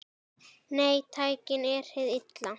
Nei, tæknin er hið illa.